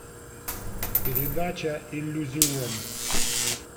передача иллюзион